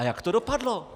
A jak to dopadlo?